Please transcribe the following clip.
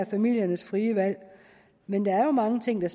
familiernes frie valg men der er mange ting der